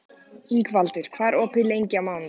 Ingvaldur, hvað er opið lengi á mánudaginn?